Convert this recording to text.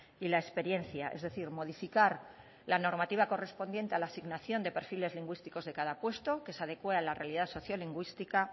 y la experiencia es decir modificar la normativa correspondiente a la asignación de perfiles lingüísticos de cada puesto que se adecue a la realidad sociolingüística